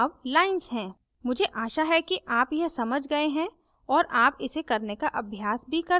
मुझे आशा है कि आप यह समझ गए हैं और आप इसे करने का अभ्यास भी कर सकते हैं